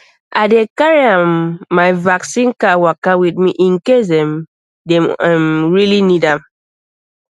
i dey carry um my vaccine card waka with me in case um dem um really need am